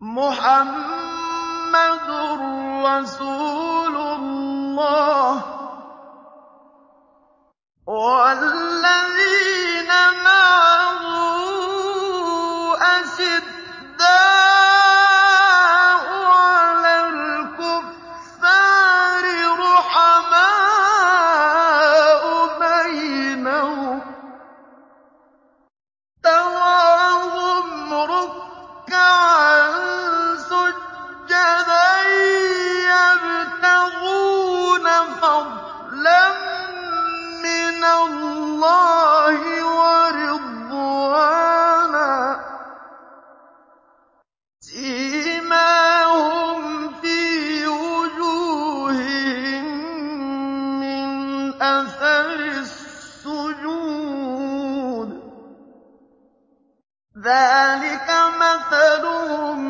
مُّحَمَّدٌ رَّسُولُ اللَّهِ ۚ وَالَّذِينَ مَعَهُ أَشِدَّاءُ عَلَى الْكُفَّارِ رُحَمَاءُ بَيْنَهُمْ ۖ تَرَاهُمْ رُكَّعًا سُجَّدًا يَبْتَغُونَ فَضْلًا مِّنَ اللَّهِ وَرِضْوَانًا ۖ سِيمَاهُمْ فِي وُجُوهِهِم مِّنْ أَثَرِ السُّجُودِ ۚ ذَٰلِكَ مَثَلُهُمْ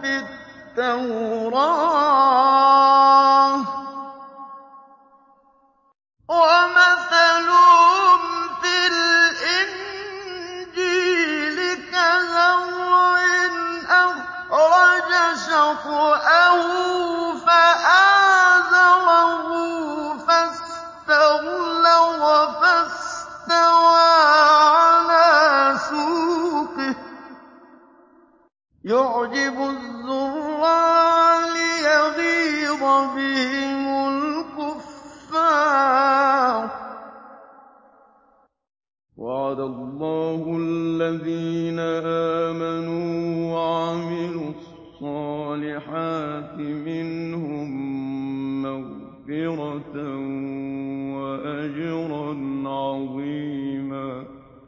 فِي التَّوْرَاةِ ۚ وَمَثَلُهُمْ فِي الْإِنجِيلِ كَزَرْعٍ أَخْرَجَ شَطْأَهُ فَآزَرَهُ فَاسْتَغْلَظَ فَاسْتَوَىٰ عَلَىٰ سُوقِهِ يُعْجِبُ الزُّرَّاعَ لِيَغِيظَ بِهِمُ الْكُفَّارَ ۗ وَعَدَ اللَّهُ الَّذِينَ آمَنُوا وَعَمِلُوا الصَّالِحَاتِ مِنْهُم مَّغْفِرَةً وَأَجْرًا عَظِيمًا